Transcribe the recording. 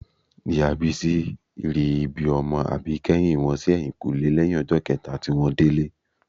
Ìyá Bísí ri ibi ọmọ àbíkẹ́yìn wọn sí ẹ̀yìnkùlẹ́ lẹ́yìn ọjọ́ kẹta tí wọ́n délé